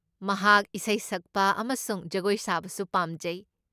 ꯃꯍꯥꯛ ꯏꯁꯩ ꯁꯛꯄ ꯑꯃꯁꯨꯡ ꯖꯒꯣꯏ ꯁꯥꯕꯁꯨ ꯄꯥꯝꯖꯩ꯫